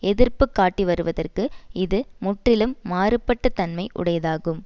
எதிர்ப்பு காட்டிவருவதற்கு இது முற்றிலும் மாறுபாட்ட தன்மை உடையதாகும்